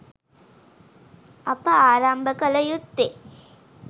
අප ආරම්භ කල යුත්තේ